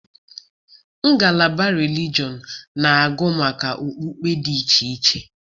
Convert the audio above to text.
Ngalaba relijọn na-agụ maka okpukpe dị iche iche.